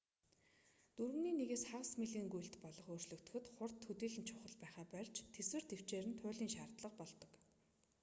дөрөвний нэгээс хагас милийн гүйлт болгож өөрчлөхөд хурд төдийлөн чухал байхаа больж тэсвэр тэвчээр нь туйлын шаардлага болдог